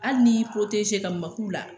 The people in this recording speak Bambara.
Hali ni y'i ka maku la